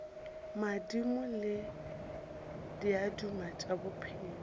madimo le diaduma tša bophelo